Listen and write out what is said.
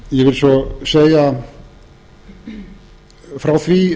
ég vil svo segja frá því